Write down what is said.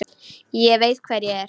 Ég veit hver ég er.